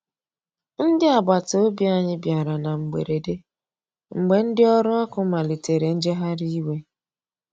Ndi agbata ọbì anya bìara na mgberede, mgbe ndi ọrụ ọkụ malitere njegharị iwe.